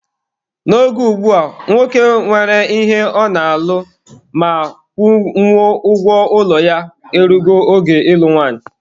N'oge ugbua, nwoke nwere ihe ọ na-alụ ma kwụnwuo ụgwọ ụlọ ya e rugo oge ịlụ nwanyị.